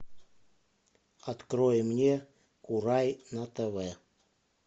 открой мне курай на тв